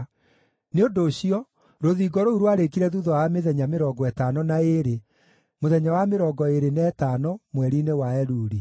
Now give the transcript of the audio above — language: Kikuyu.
Nĩ ũndũ ũcio, rũthingo rũu rwarĩĩkire thuutha wa mĩthenya mĩrongo ĩtano na ĩĩrĩ, mũthenya wa mĩrongo ĩĩrĩ na ĩtano, mweri-inĩ wa Eluli.